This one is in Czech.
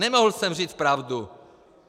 Nemohl jsem říct pravdu!